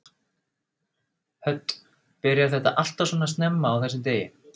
Hödd: Byrjar þetta alltaf svona snemma á þessum degi?